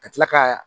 Ka tila ka